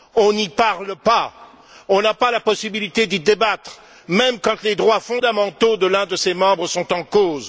On n'y parle pas, on n'a pas la possibilité d'y débattre, même quand les droits fondamentaux de l'un de ses membres sont en cause.